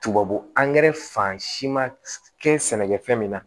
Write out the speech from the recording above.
Tubabu angɛrɛ fan si ma kɛ sɛnɛkɛfɛn mina